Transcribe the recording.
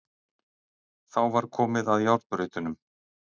Þá var komið að járnbrautunum.